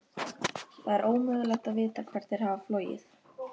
Það er ómögulegt að vita hvert þær hafa flogið.